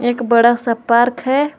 एक बड़ा सा पार्क है।